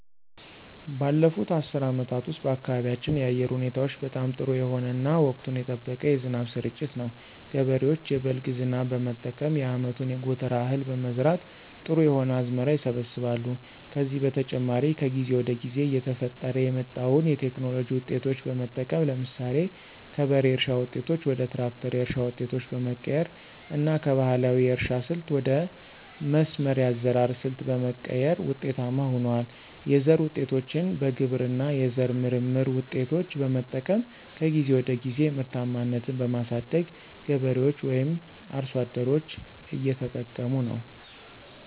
ባለፉት አስርት አመታት ውስጥ በአካባቢያችን የአየር ሁኔታዎች በጣም ጥሩ የሆነ እና ወቅቱን የጠበቀ የዝናብ ስርጭት ነው። ገበሬዎች የበልግ ዝናብ በመጠቀም የአመቱን የጎተራ እህል በመዝራት ጥሩ የሆነ አዝመራ ይሰበስባሉ። ከዚህ በተጨማሪ ከጊዜ ወደ ጊዜ እየተፈጠረ የመጣዉን የቴክኖሎጂ ዉጤቶች በመጠቀም ለምሳሌ ከበሬ እርሻ ዉጤቶች ወደ ትራክተር የእርሻ ዉጤቶች በመቀየር እና ከባህላዊ የእርሻ ስልት ወደ መስመር የአዘራር ሰልት በመቀየር ውጤታማ ሁነዋል። የዘር ዉጤቶችን በግብርና የዘር ምርምር ውጤቶች በመጠቀም ከጊዜ ወደ ጊዜ ምርታማነትን በማሳደግ ገበሬዎች ወይም አርሶ አደሮች እየተጠቀሙ ነው።